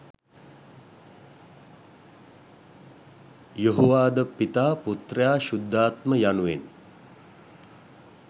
යොහෝවාඞ ද පිතා, පුත්‍රයා, ශුද්ධාත්ම යනුවෙන්